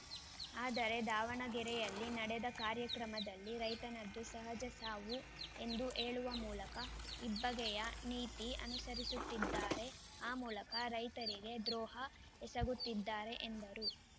ಆದರೆ ದಾವಣಗೆರೆಯಲ್ಲಿ ನಡೆದ ಕಾರ್ಯಕ್ರಮದಲ್ಲಿ ರೈತನದ್ದು ಸಹಜ ಸಾವು ಎಂದು ಹೇಳುವ ಮೂಲಕ ಇಬ್ಬಗೆಯ ನೀತಿ ಅನುಸರಿಸುತ್ತಿದ್ದಾರೆ ಆ ಮೂಲಕ ರೈತರಿಗೆ ದ್ರೋಹ ಎಸಗುತ್ತಿದ್ದಾರೆ ಎಂದರು